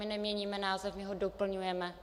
My neměníme název, my ho doplňujeme.